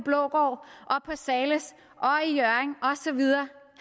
zahles i hjørring og så videre